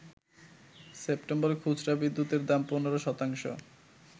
সেপ্টেম্বরে খুচরা বিদ্যুতের দাম ১৫ শতাংশ